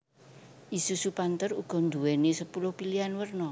Isuzu Panther uga nduwéni sepuluh pilihan werna